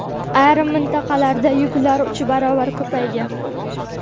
ayrim mintaqalarda yuklar uch baravar ko‘paygan.